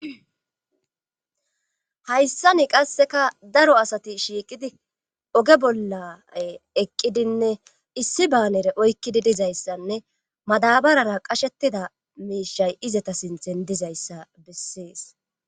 hayssani qasseka daro asati shiiqidi oge bollay eqqidinne issi baanere oykkidi dizayssanne madabarara qashettida miishay izata sinthen dizayssa bessees